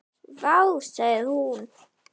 Vá, sagði hún.